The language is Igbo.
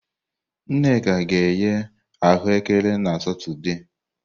Nneka ga-eghe ahuekere na Satọde.